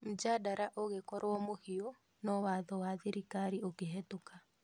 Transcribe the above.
Mjadara ũgĩkorwo mũhiu no watho wa thirikari ũkihitũka